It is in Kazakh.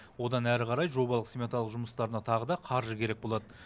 одан әрі қарай жобалық сметалық жұмыстарына тағы да қаржы керек болады